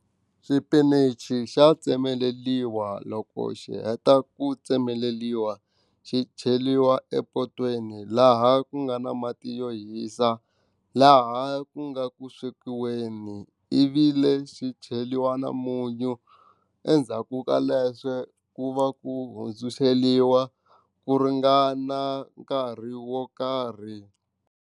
Xipinichi xa tsemeleriwa loko xi heta ku tsemeleriwa xi cheriwa epotweni laha ku nga na mati yo hisa laha ku nga ku swekiweni ivi lexi cheriwa na munyu endzhaku ka leswo ku va ku hundzuluxeliwa ku ringana nkarhi wo karhi.